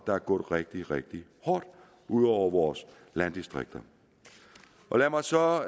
er gået rigtig rigtig hårdt ud over vores landdistrikter lad mig så